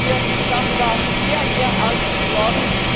Ich mache mir darüber sehr ernste Sorgen.